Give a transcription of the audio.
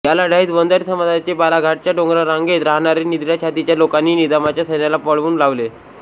या लढाईत वंजारी समाजाचे बालाघाटच्या डोंगररांगेत राहणारे निधड्या छातीच्या लोकांनी निजामाच्या सैन्याला पळवुन लावले